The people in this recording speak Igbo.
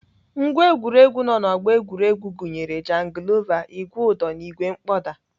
Ngwá egwuregwu nọ na ọgbọ egwuregwu gụnyere jangilova, ìgwè ụdọ na ìgwè mkpọda.